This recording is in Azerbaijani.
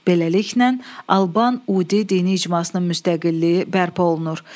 Beləliklə, Alban Udi dini icmasının müstəqilliyi bərpa olundu.